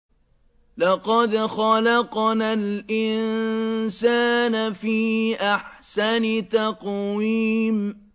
لَقَدْ خَلَقْنَا الْإِنسَانَ فِي أَحْسَنِ تَقْوِيمٍ